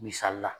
Misali la